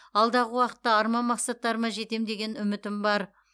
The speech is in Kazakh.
алдағы уақытта арман мақсаттарыма жетем деген үмітім бар